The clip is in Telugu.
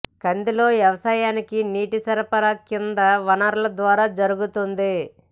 కందిలో వ్యవసాయానికి నీటి సరఫరా కింది వనరుల ద్వారా జరుగుతోంది